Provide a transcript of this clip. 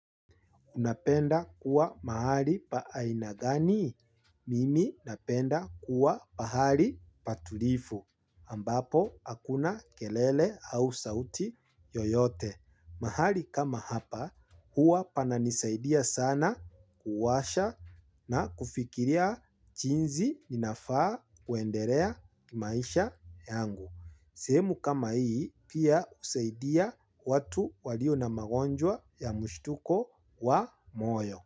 Unapenda kuwa mahali pa aina gani, mimi napenda kuwa pahali patulivu, ambapo hakuna kelele au sauti yoyote. Mahali kama hapa, huwa pananisaidia sana kuwasha na kufikiria chinji ninafaa kuendelea maisha yangu. Sehemu kama hii pia husaidia watu walio na magonjwa ya mshituko wa moyo.